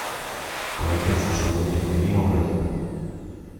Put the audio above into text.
полотенце с собой необходимо брать